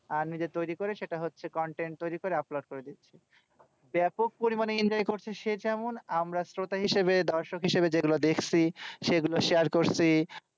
আহ নিজে তৈরী করে সেটা হচ্ছে content তৈরী করে upload করে দিচ্ছে। ব্যাপক পরিমানে enjoy করছে সে যেমন। আমরা শ্রোতা হিসেবে, দর্শক হিসেবে, যেগুলো দেখছি সেগুলো share করছি।